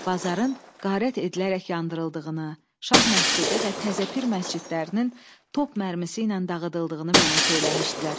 Bazarın qarət edilərək yandırıldığını, Şah məscidi və Təzəpir məscidlərinin top mərmisi ilə dağıdıldığını mənə söyləmişdilər.